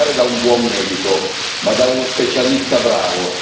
Dovreste andare da un buon medico, ma da uno specialista bravo!